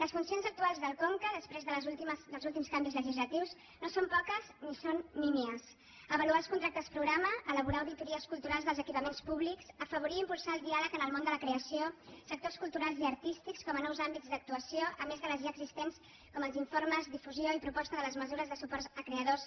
les funcions actuals del conca després dels úl·tims canvis legislatius no són poques ni són nímies avaluar els contractes programa elaborar auditories culturals dels equipaments públics afavorir i impul·sar el diàleg en el món de la creació sectors culturals i artístics com a nous àmbits d’actuació a més de les ja existents com els informes difusió i proposta de les mesures de suport a creadors